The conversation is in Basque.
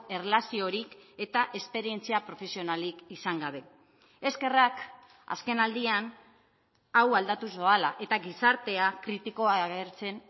erlaziorik eta esperientzia profesionalik izan gabe eskerrak azken aldian hau aldatuz doala eta gizartea kritikoa agertzen